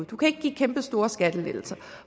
du kan ikke give kæmpestore skattelettelser